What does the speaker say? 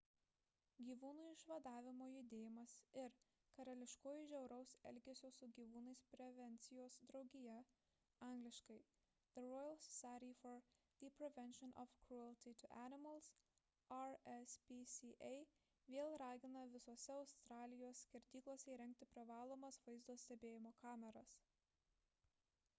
gyvūnų išvadavimo judėjimas ir karališkoji žiauraus elgesio su gyvūnais prevencijos draugija angl. the royal society for the prevention of cruelty to animals rspca vėl ragina visose australijos skerdyklose įrengti privalomas vaizdo stebėjimo kameras